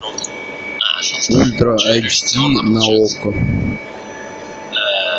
ультра айч ди на окко